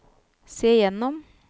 se gjennom